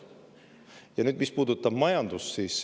Nüüd sellest, mis puudutab majandust.